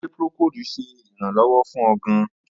Ṣe procold ṣe iranlọwọ fun ọ gaan?